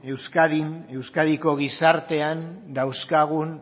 euskadin euskadiko gizartean dauzkagun